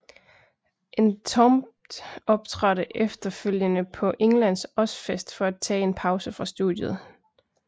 Entombed optrådte efterfølgende på Englands Ozzfest for at tage en pause fra studiet